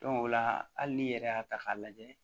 o la hali n'i yɛrɛ y'a ta k'a lajɛ